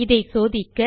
இதை சோதிக்க